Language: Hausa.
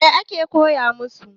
Mai ake koya masu?